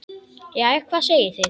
Jæja, hvað segið þið?